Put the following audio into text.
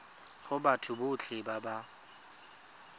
go batho botlhe ba ba